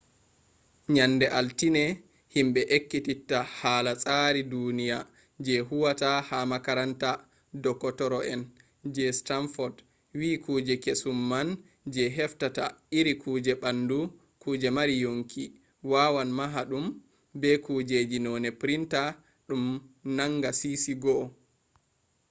nyande altine himɓe ekkititta hala tsari duniya je huwata ha makaranta dokotoro en je stanfod wi kuje kesum man je heftata iri kujeji ɓandu kuje mari yonki wawan maha ɗum be kujeji noone printa ɗum nanga sisi 1